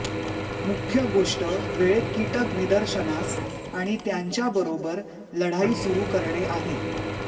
मुख्य गोष्ट वेळेत कीटक निदर्शनास आणि त्यांच्याबरोबर लढाई सुरू करणे आहे